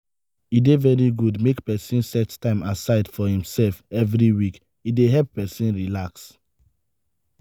e dey very good make pesin set time aside for imself every week e dey help pesin relax.